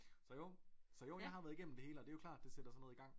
Så jo så jo jeg har været igennem det hele og det jo klart det sætter sådan noget i gang